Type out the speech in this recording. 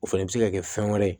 O fɛnɛ bɛ se ka kɛ fɛn wɛrɛ ye